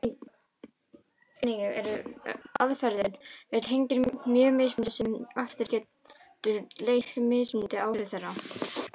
Einnig eru aðferðir við teygjur mjög mismunandi sem aftur getur leitt til mismunandi áhrifa þeirra.